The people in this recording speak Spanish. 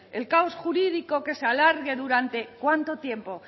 el caos jurídico que se alargue durante cuánto tiempo